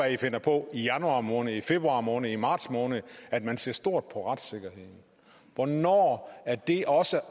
i finder på i januar måned i februar måned i marts måned at man ser stort på retssikkerheden hvornår er det også